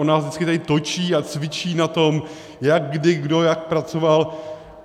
On nás vždycky tady točí a cvičí na tom, jak kdy kdo jak pracoval.